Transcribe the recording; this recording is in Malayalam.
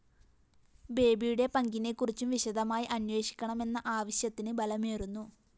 ബേബിയുടെ പങ്കിനെക്കുറിച്ചും വിശദമായി അന്വേഷിക്കണമെന്ന ആവശ്യത്തിന് ബലമേറുന്നു